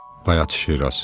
Bayat Şiraz.